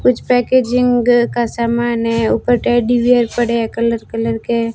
कुछ पैकेजिंग का सामान है ऊपर टेडी बेयर पड़े पड़े हैं कलर कलर के।